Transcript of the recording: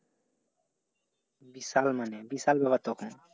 বিশাল মানে বিশাল ব্যাপার তখন।